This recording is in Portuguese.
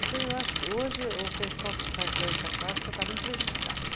Então, eu acho que hoje o pessoal que faz dança clássica está muito prejudicado.